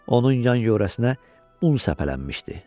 Onun yan yörəsinə un səpələnmişdi.